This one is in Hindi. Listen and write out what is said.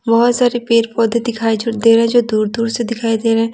बहुत सारे पेड़-पौधे दिखाई जो दे रहा है जो दूर-दूर से दिखाई दे रहे हैं।